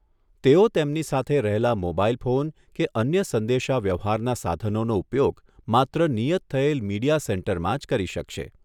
તેઓ તેમની સાથે રહેલા મોબાઇલ ફોન કે અન્ય સંદેશા વ્યવહારના સાધનોનો ઉપયોગ માત્ર નિયત થયેલ મીડિયા સેન્ટરમાં જ કરી શકશે.